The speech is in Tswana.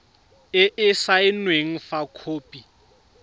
e e saenweng fa khopi